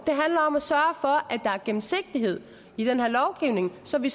handler om at sørge for at der er gennemsigtighed i den her lovgivning så vi